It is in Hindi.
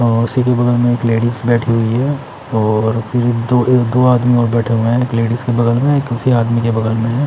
और उसी के बगल में एक लेडिज बेठी हुई हे और एक दो एक दो आदमी और बेठे हुए हैं लेडिज के बगल में उसी आदमी के बगल में हैं।